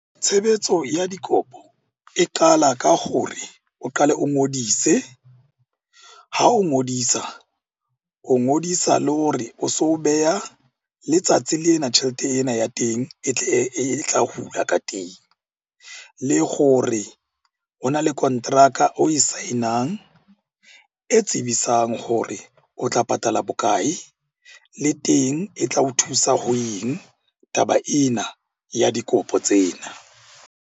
Tshebetso ya dikopo e qala ka gore o qale o ngodise. Ha o ngodisa, o ngodisa le hore o so beha letsatsi lena tjhelete ena ya teng e tle e tla hula ka teng. Le gore ho na le kontraka oe sign-ang e tsebisang hore o tla patala bokae? Le teng e tla o thusa ho eng taba ena ya dikopo tsena.